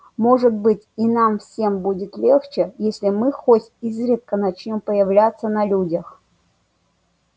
может быть и нам всем будет легче если мы хоть изредка начнём появляться на людях